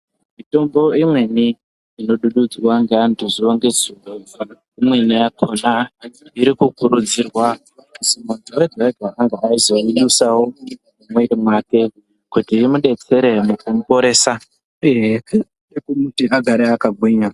Mitombo imweni inodhudhudzwa ngeantu zuwa ngezuwa , imweni yakhona iri kukurudzirwa kuti muntu wega-wega ange eyizoyidusawo mumwoyo mwake kuti imudetsere kumuporesa uye yeikwanisa kumuti agare akagwinya.